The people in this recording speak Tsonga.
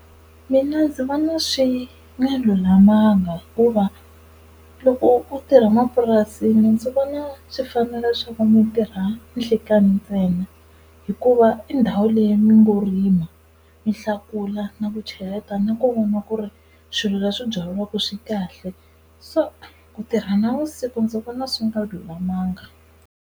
Mina ndzi vona swi nga lulamanga, hikuva loko u tirha mapurasini ndzi vona swi fanerile leswaku mi tirha nhlikani ntsena hikuva i ndhawu leyi mi ngo rima mi hlakula na ku cheleta na ku voniwa ku ri swilo leswi byariwaka swi kahle. So ku tirha navusiku ndzi vona swi nga lulamanga.